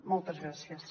moltes gràcies